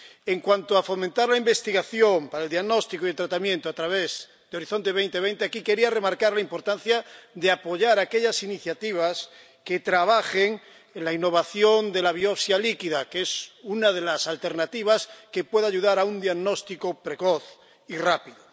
En cuanto a fomentar la investigación para el diagnóstico y tratamiento a través de Horizonte 2020, aquí quería remarcar la importancia de apoyar aquellas iniciativas que trabajen en la innovación de la biopsia líquida, que es una de las alternativas que puede ayudar a un diagnóstico precoz y rápido.